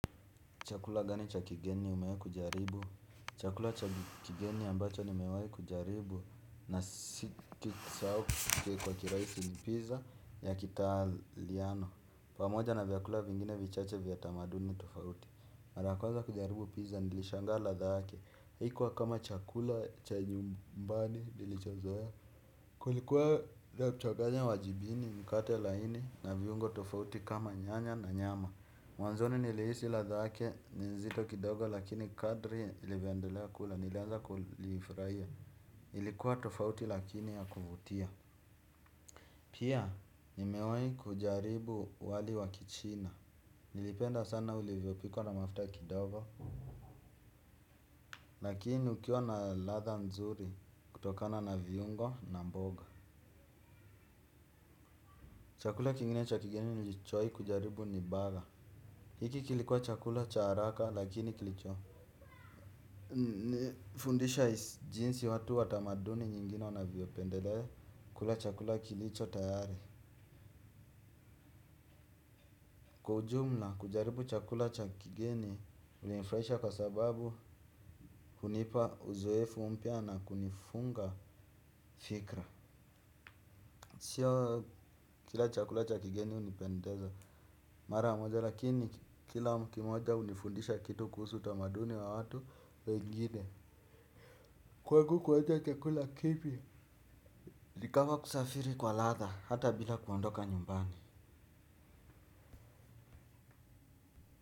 Chakula gani cha kigeni umewahi kujaribu? Chakula cha kigeni ambacho nimewahi kujaribu na sikukisahau kwa kiraisi ni pizza ya kitaliano. Pamoja na vyakula vingine vichache vya tamaduni tofauti. Mara ya kwanza kujaribu pizza nilishangaa ladha yake. Haikuwa kama chakula cha nyumbani nilichozoea. Kulikuwa la kuchanganya wajibini mkate laini na viungo tofauti kama nyanya na nyama. Mwanzoni nilihisi ladha yake ni nzito kidogo lakini kadri nilivyoendelea kula nilianza kulifurahia. Ilikuwa tofauti lakini ya kuvutia. Pia nimewahi kujaribu wali wa kichina. Nilipenda sana ulivyopikwa na mafuta kidogo. Lakini ukiwa na ladha nzuri kutokana na viungo na mboga. Chakula kingine cha kigeni nilichowahi kujaribu ni burger. Hiki kilikuwa chakula cha haraka lakini kilicho. Nifundisha jinsi watu wa tamaduni nyingine wanavyopendelea kula chakula kilicho tayari. Kwa ujumla kujaribu chakula cha kigeni kulinifurahisha kwa sababu hunipa uzoefu mpya na kunifunga fikra. Sio kila chakula cha kigeni hunipendeza. Mara moja lakini kila kimoja hunifundisha kitu kuhusu utamaduni wa watu wengine. Kwangu kuacha chakula kipi ni kama kusafiri kwa ladha hata bila kuondoka nyumbani.